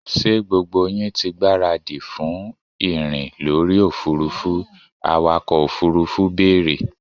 ṣé gbogbo yín ti gbáradì fún ìrìn lórí òfurufú? awakọ̀ òfurufú bèèrè?